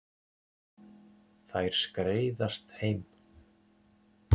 Þær skreiðast heim.